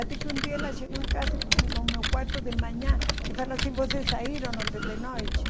Até que um dia ela chegou em casa e foi no meu quarto de manhã e falou assim, vocês saíram ontem de noite?